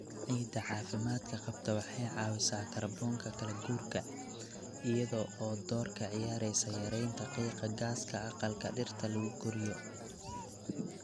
Ciidda caafimaadka qabta waxay caawisaa kaarboonka kala-guurka, iyada oo door ka ciyaaraysa yaraynta qiiqa gaaska aqalka dhirta lagu koriyo.